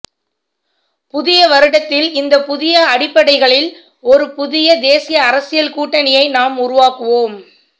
புதிய வருடத்தில் இந்த புதிய அடிப்படைகளில் ஒரு புதிய தேசிய அரசியல் கூட்டணியை நாம் உருவாக்குவோம்